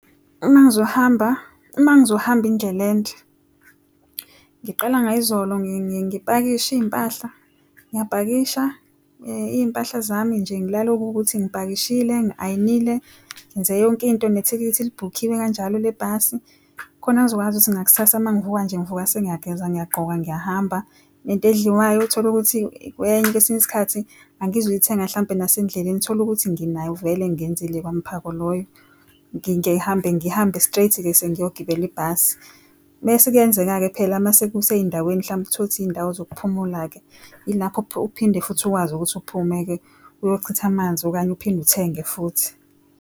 Uma ngizohamba indlela ende ngiqala ngayizolo ngipakishe izimpahla ngiyapakisha izimpahla zami nje, ngilale okuwukuthi ngipakishile ngi ayinile ngenze yonkinto nethikithi libhukhiwe kanjalo lebhasi khona ngizokwazi ukuthi ngakusasa mangivuka nje ngivuka sengiyageza ngiyagqoka ngiyahamba into edliwayo tholukuthi kwesinye isikhathi angizuyithenga mhlampe nasendleleni tholukuthi nginayo vele ngenzile kwami parko loyo ngihambe straight-ke sengiyogibela ibhasi mese kuyenzeka-ke phela mase kusezindaweni mhlambe uthole ukuthi izindawo zokuphumula-ke ilapho uphinde futhi, ukwazi ukuthi uphume-ke uyochitha amanzi okanye uphinde uthenge futhi.